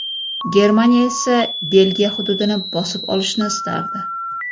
Germaniya esa Belgiya hududini bosib olishni istardi.